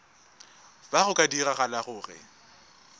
fa go ka diragala gore